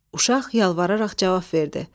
Uşaq yalvararaq cavab verdi.